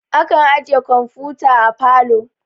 Akan ajiye kamfuta a parlor